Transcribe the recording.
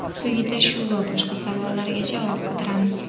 Quyida shu va boshqa savollarga javob qidiramiz.